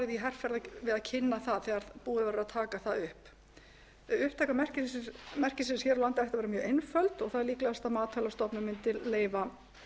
í herferð við að kynna það þegar búið verður að taka það upp upptaka merkisins hér á landi ætti að vera mjög einföld og það er líklegast að matvælastofnun mundi leyfa